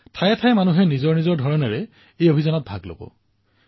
ঠায়েঠায়ে জনতাই নিজৰ ধৰণে এই অভিযানৰ অংশীদাৰ হৈছে